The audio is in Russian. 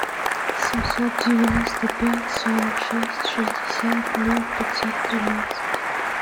семьсот девяносто пять сорок шесть шестьдесят ноль пятьсот тринадцать